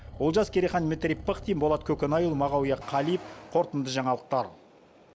олжас керейхан дмитрий пыхтин болат көкенайұлы мағауия қалиев қорытынды жаңалықтар